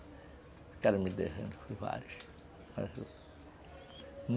vários.